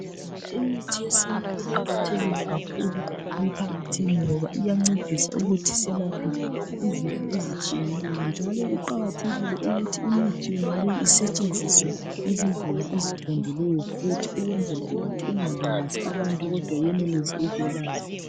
Imithi yesintu iqakathekile kakhulu emphakathini ngoba iyancedisa ukuthi selaphe izifo ezitshiyeneyo njalo kuqakathekile ukuthi imithi yonaleyi isetshenziswe ngezindlela eziqondileyo futhi ukwenzela ukuthi ingalimazi abantu kodwa yenelise ukwelapha.